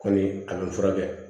Kɔni a bɛ n furakɛ